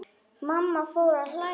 Mamma fór að hlæja.